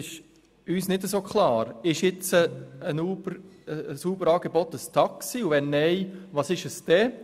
Ist ein Uber-Angebot ein Taxi, und wenn nicht, was ist es dann?